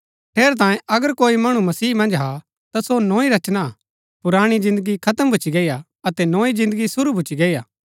ठेरैतांये अगर कोई मणु मसीह मन्ज हा ता सो नोई रचना हा पुराणी जिन्दगी खत्म भूच्ची गई हा अतै नोई जिन्दगी शुरू भूच्ची गई हा